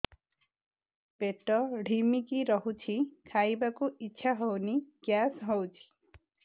ପେଟ ଢିମିକି ରହୁଛି ଖାଇବାକୁ ଇଛା ହଉନି ଗ୍ୟାସ ହଉଚି